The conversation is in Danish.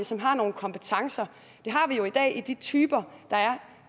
som har nogle kompetencer det har vi jo i dag i de typer der er